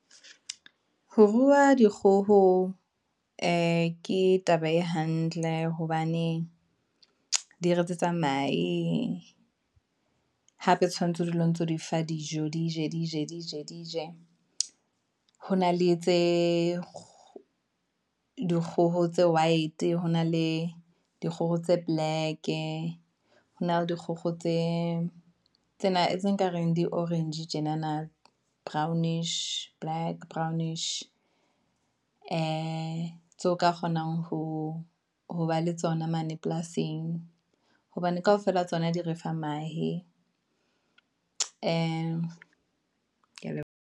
Ho rua dikgoho ee ke taba e hantle, hobane di re etsetsa mahe, hape tshwanetse ho dula o ntso di fa dijo, di je, di je, di je, di je . Ho na le tse dikgoho tse white, hona le dikgoho tse black, hona le dikgogo tse tsena tse nkareng di orange tjenana, brownish black, brownish, ee, tseo ka kgonang ho ba le tsona mane polasing, hobane kaofela tsona di refa mahe, Ke ya leboha.